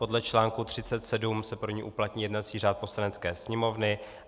Podle článku 37 se pro ni uplatní jednací řád Poslanecké sněmovny.